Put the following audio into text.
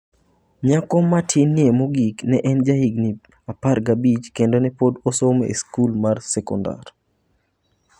Nyako matinie mogik ne en jahigini 15 kendo ne pod osomo e skul mar sekondari.